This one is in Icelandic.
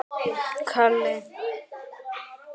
Ertu leiður á henni?